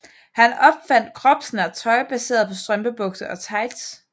Han opfandt kropsnært tøj baseret på strømpebukser og tights